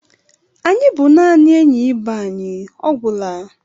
Anyị bụ naanị enyi ibe anyị, ọ gwụla.